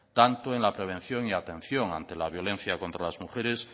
tanto en la prevención y atención ante la violencia contra las mujeres